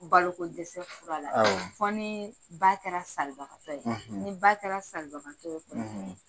Balo ko dɛsɛ fura la. Awɔ. Fɔ ni ba kɛra salibagatɔ ye. , Ni ba kɛra salibagatɔ ye o kɔni